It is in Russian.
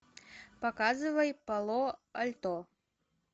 показывай пало альто